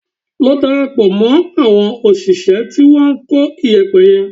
Lọ darapọ̀ mọ́ àwọn òṣìṣẹ́ tí wọ́n ń kó iyẹ̀pẹ̀ yẹn